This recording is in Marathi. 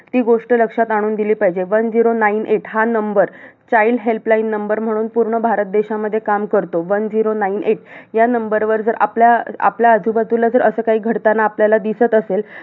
ती गोष्ट लक्षात आणून दिली पाहिजे. One zero nine eight हा number child help line number म्हणून पूर्ण भारत देशामध्ये काम करतो. One zero nine eight या number वर जर आपल्या आपल्या आजूबाजूला जर असं काही घडतांना आपल्याला दिसत असेल